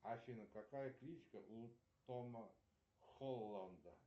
афина какая кличка у тома холланда